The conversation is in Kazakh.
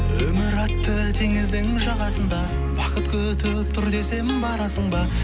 өмір атты теңіздің жағасында бақыт күтіп тұр десем барасың ба